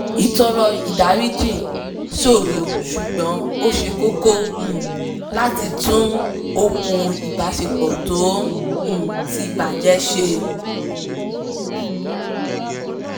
ìtọọrọ ìdáríjì ṣòro ṣùgbọ́n ó ṣe kókó um láti tún okùn ìbásepọ̀ tó um ti ń bàjẹ́ ṣe